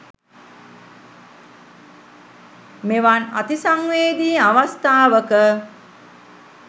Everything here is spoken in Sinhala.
මෙවන් අති සංවේදි අවස්ථාවක